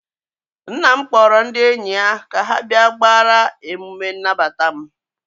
nna m kpọrọ ndị enyi ya ka ha bịa gbaara emume nnabata m